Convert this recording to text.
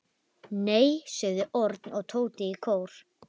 Nei sögðu Örn og Tóti í kór.